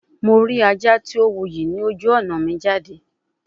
Mo ri aja ti o wuyi loju ọna mi jade